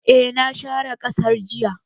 Eh na share ƙasar jiya